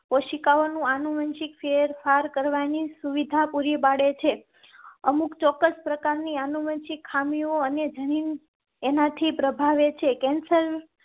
કોશિકાઓ નું આનુવંશિક ફેરફાર કરવાની સુવિધા પૂરી પાડે છે. અમુક ચોક્કસ પ્રકાર ની આનુવંશિક ખામીઓ અને જેની એનાથી પ્રભાવિત છે. કેન્સર